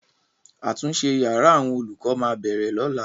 Àtúnṣe yàrá àwọn olùkọ máa bẹ̀rẹ̀ lọ́la.